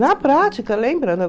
Na prática, lembra?